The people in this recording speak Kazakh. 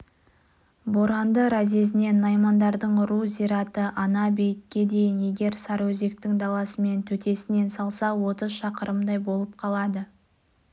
боранды разъезінен наймандардың ру зираты ана-бейітке дейін егер сарыөзектің даласымен төтесінен салса отыз шақырымдай болып қалады